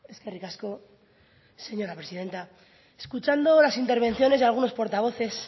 eskerrik asko señora presidenta escuchando las intervenciones de algunos portavoces